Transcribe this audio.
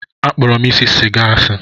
Akpọrọ m isi sịga asị.